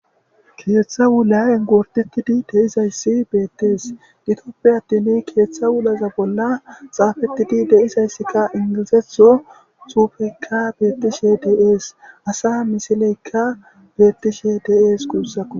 keeththa wulaen gortetidi deizayssi beettees gitoppe attin keeththa wulaza bolla xaafettidi deizayssikka ingilizetho xuufekka beettishe deees asa misileykka beettishe dees guussaku